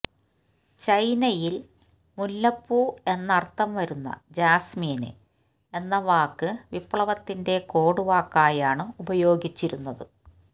ചൈനയില് മുല്ലപ്പൂ എന്നര്ത്ഥം വരുന്ന ജാസ്മിന് എന്ന വാക്ക് വിപ്ലവത്തിന്റെ കോഡ് വാക്കായാണ് ഉപയോഗിച്ചിരുന്നത്